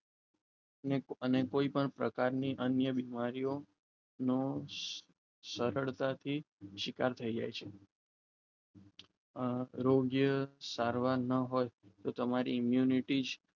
અને કોઈપણ પ્રકારની અન્ય બીમારીઓનું સરળતાથી શિકાર થઈએ છીએ આરોગ્ય સારવાર ન હોય તો તમારી unity